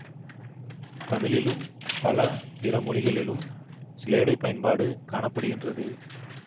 தமிழிலும் பல பிற மொழிகளிலும் சிலேடைப் பயன்பாடு காண படுகின்றது